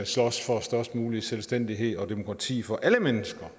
slås for størst mulig selvstændighed og demokrati for alle mennesker